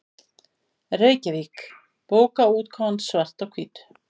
Reykjavík: Bókaútgáfan Svart á hvítu.